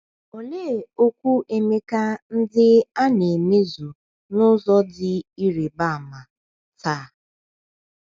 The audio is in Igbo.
Olee okwu Emeka ndị a na - a na - emezu n’ụzọ dị ịrịba ama taa?